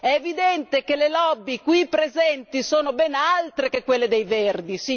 È evidente che le lobby qui presenti sono ben altre che quelle dei Verdi!